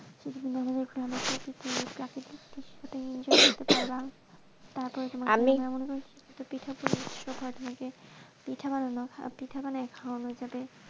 প্রাকৃতিক দৃশ্য enjoy করতে পারবা তারপরে তোমার আমি পিঠা পুলি উৎসব হয়ে থাকে তোমাকে পিঠা পিঠা বানিয়ে খাওয়ানো যাবে,